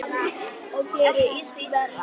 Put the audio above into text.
Og gerir illt verra.